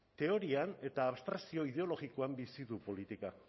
teorian eta abstrakzio ideologikoan bizi du politika